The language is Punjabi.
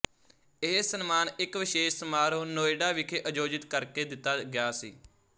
ਇਹ ਸਨਮਾਨ ਇੱਕ ਵਿਸ਼ੇਸ਼ ਸਮਾਰੋਹ ਨੋਇਡਾ ਵਿਖੇ ਆਯੋਜਿਤ ਕਰਕੇ ਦਿੱਤਾ ਗਿਆ ਸੀ